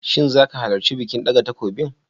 Shin zaka halarci bikin ɗaga takobin?